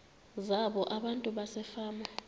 zabo abantu basefama